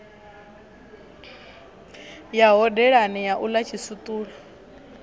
ya hodelani u ḽa tshiswiṱulo